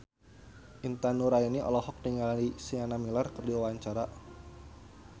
Intan Nuraini olohok ningali Sienna Miller keur diwawancara